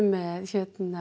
með